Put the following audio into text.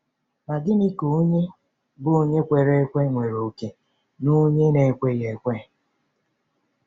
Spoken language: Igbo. Ma gịnị ka ònye bụ́ onye kwere ekwe nwere òkè na onye na-ekweghị ekwe?